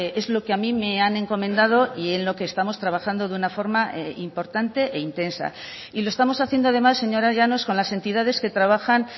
es lo que a mí me han encomendado y en lo que estamos trabajando de una forma importante e intensa y lo estamos haciendo además señora llanos con las entidades que trabajan